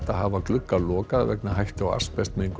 hafa glugga lokaða vegna hættu á